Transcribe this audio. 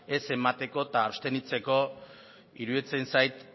ez emateko eta abstenitzeko iruditzen zait